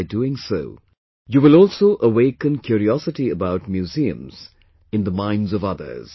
By doing so you will also awaken curiosity about museums in the minds of others